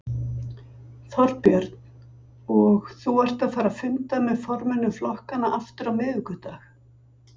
Þorbjörn: Og þú ert að fara að funda með formönnum flokkanna aftur á miðvikudag?